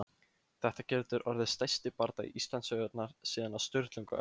Þetta getur orðið stærsti bardagi Íslandssögunnar síðan á Sturlungaöld!